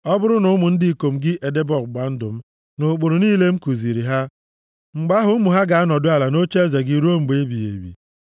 ọ bụrụ na ụmụ ndị ikom gị edebe ọgbụgba ndụ m na ụkpụrụ niile m kuziri ha, mgbe ahụ ụmụ ha ga-anọdụ ala nʼocheeze gị ruo mgbe ebighị ebi.”